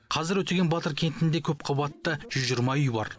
қазіргі өтеген батыр кентінде көпқабатты жүз жиырма үй бар